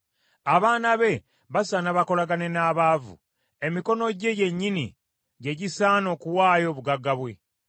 Abaana be basaana bakolagane n’abaavu, emikono gye gyennyini gye gisaana okuwaayo obugagga bwe.